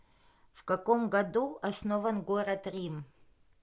в каком году основан город рим